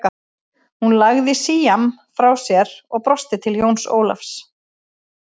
Hún lagði síamm frá sér og brosti til Jóns Ólafs.